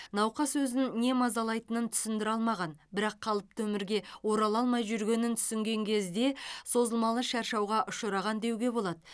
науқас өзін не мазалайтынын түсіндіре алмаған бірақ қалыпты өмірге орала алмай жүргенін түсінген кезде созылмалы шаршауға ұшыраған деуге болады